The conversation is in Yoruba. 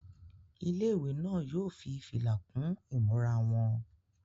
Ilé-ìwé náà yóò fi fìlà kún ìmúra wọn.